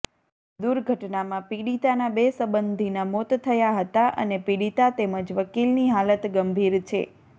દૂર્ઘટનામાં પીડિતાના બે સબંધીના મોત થયા હતા અને પીડિતા તેમજ વકીલની હાલત ગંભીર છે